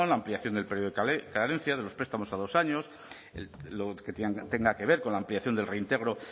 la ampliación del periodo de carencia de los prestamos a dos años lo que tenga que ver con la ampliación del reintegro